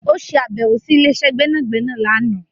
Ó ṣe àbẹ̀wọ̀ sí ilé-iṣẹ́ gbẹ́nàgbẹ́nà láàná